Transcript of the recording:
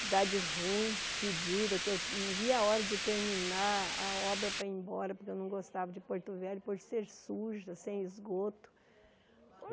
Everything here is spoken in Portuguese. Cidade ruim, fedida, que eu não via a hora de terminar a obra para ir embora, porque eu não gostava de Porto Velho, por ser suja, ser esgoto.